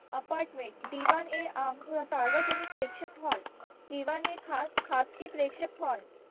apartment d one a arm व सार्वजनिक प्रेक्षक hall d one a खास खासगी प्रेक्षक hall